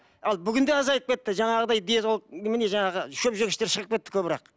ал бүгінде азайып кетті жаңағыдай диетолог немене жаңағы шөпжегіштер шығып кетті көбірек